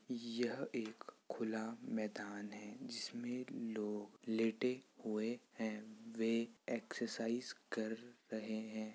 यह एक खुला मैदान है जिसमें लोग लेटे हुए हैं। वे एक्सरसाइज कर रहें हैं।